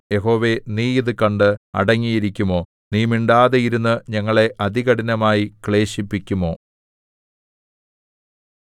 യഹോവേ നീ ഇതു കണ്ടു അടങ്ങിയിരിക്കുമോ നീ മിണ്ടാതെയിരുന്നു ഞങ്ങളെ അതികഠിനമായി ക്ലേശിപ്പിക്കുമോ